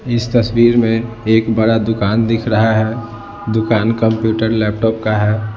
इस तस्वीर में एक बड़ा दुकान दिख रहा है दुकान कंप्यूटर लैपटॉप का है।